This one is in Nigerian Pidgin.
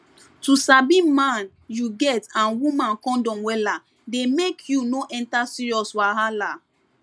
to sabi man you get and woman condom wella dey make you no enter serious wahala